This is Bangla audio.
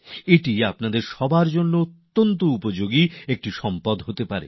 এটি আপনাদের সকলের জন্য বিরাট বড় উপযোগী একটি আকরগ্রন্থ হতে পারে